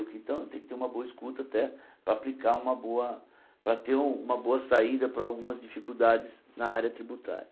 Então, eu tenho que ter uma boa escuta até para aplicar uma boa para ter uma boa saída para algumas dificuldades na área tributária.